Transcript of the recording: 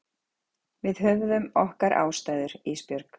Við höfðum okkar ástæður Ísbjörg.